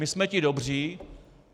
My jsme ti dobří.